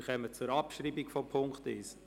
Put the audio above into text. Wir kommen zur Abschreibung von Punkt 1.